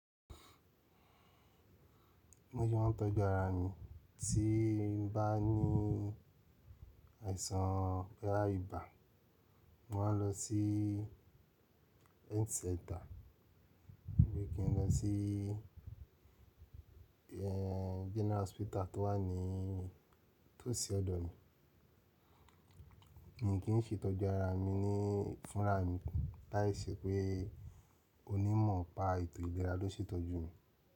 Bí mo se maa tọ́jú ara mi tí n bá ní àìsàn bóyá íbà. Mo maa lọ sí health center bí i kí n lọ sí eh General hospital tó wà ní tòsí ọ̀dọ̀ mi. Mi kì í se tọ́jú ara mi ní fúnra mi láìṣẹ́ pé onímọ̀ pa ètò ìlera ló ṣe ìtọ́jú mi.